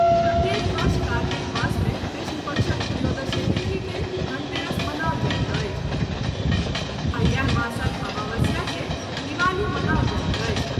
प्रत्येक वर्ष कार्तिक मास मे कृष्ण पक्षक त्रयोदशी तिथि के धनतेरस मनाओल जाइत अछि आ इएह मासक अमावस्या के दिवाली मनाओल जाइत अछि।